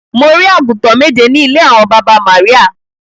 Mo rí àgùntàn méje ní ilé àwọn baba Maria.